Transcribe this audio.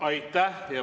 Aitäh!